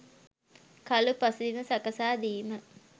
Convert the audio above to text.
කලු පසුබිම සකසා දීම.